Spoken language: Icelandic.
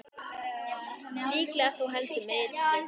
Líklega þó heldur með illu.